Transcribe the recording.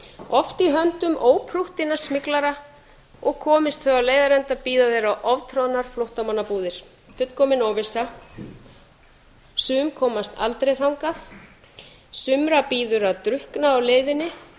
oft í höndum óprúttinna smyglara og komist þau á leiðarenda bíða þeirra oftroðnar flóttamannabúðir fullkomin óvissa sum komast aldrei þangað sumra bíður að drukkna á leiðinni